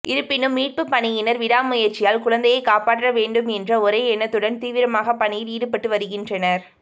இருப்பினும் மீட்பு பணியினர் விடாமுயற்சியால் குழந்தையை காப்பாற்ற வேண்டும் என்ற ஒரே எண்ணத்துடன் தீவிரமாக பணியில் ஈடுபட்டு வருகின்றனர்